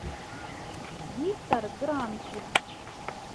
виктор гранкин